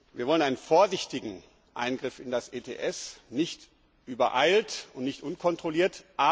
Wir wollen einen vorsichtigen Eingriff in das ETS, nicht übereilt und nicht unkontrolliert.